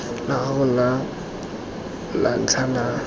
la gago la ntlha la